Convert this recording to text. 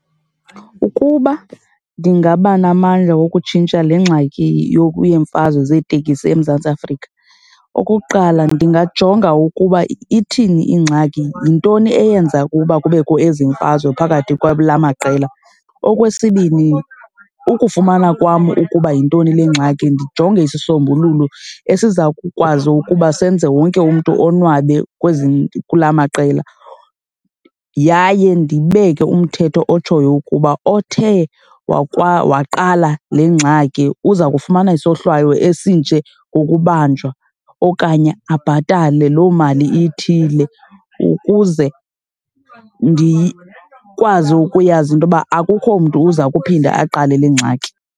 Ukuba ndingaba namandla wokutshintsha le ngxaki yeemfazwe zeeteksi eMzantsi Afrika. Okokuqala ndingajonga ukuba ithini ingxaki. Yintoni eyenza ukuba kubekho ezimfazwe phakathi kwala maqela? Okwesibini ukufumana kwam ukuba yintoni le ngxaki ndijonge isisombululo esiza kukwazi ukuba senze wonke umntu onwabe kwezi, kulaa maqela yaye ndibeke umthetho otshoyo ukuba othe waqala le ngxaki, uza kufumana isohlwayo esinje ngokubanjwa okanye abhatale loo mali ithile ukuze ndikwazi ukuyazi into yoba akukho mntu uza kuphinda aqale le ngxaki.